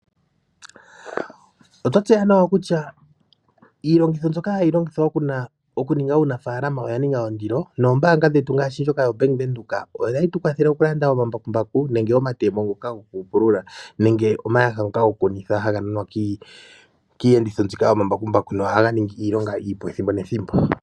Oto tseya nawa oku tya iilongitho mbyoka hayi longithwa oku ninga uunafaalama oya ninga ondilo noombaanga dhetu ngaaashi ndjoka yaVenduka ohayi tukwathele mokulanda omambakumbaku nenge omatemo ngoka gokupulula nenge omayaha ngoka gokukunitha haga nanwa kiiyenditho mbika yomambakumbaku nohaganingi iilonga iipu ethimbo nethimbo